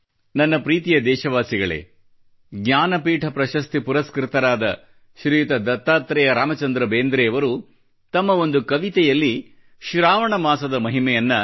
ನನ್ನ ಪ್ರೀತಿಯ ದೇಶವಾಸಿಗಳೇ ಜ್ಞಾನಪೀಠ ಪ್ರಶಸ್ತಿ ಪುರಸ್ಕೃತರಾದ ಶ್ರೀಯುತ ದತ್ತಾತ್ರೇಯ ರಾಮಚಂದ್ರ ಬೇಂದ್ರೆಯವರು ತಮ್ಮ ಒಂದು ಕವಿತೆಯಲ್ಲಿ ಶ್ರಾವಣ ಮಾಸದ ಮಹಿಮೆಯನ್ನ